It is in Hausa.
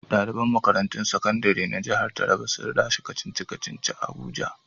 Daliban makarantun sakandire na jihar Taraba sun lashe kacici-kaci a abuja.